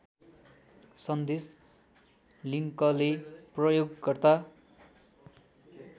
सन्देश लिङ्कले प्रयोगकर्ता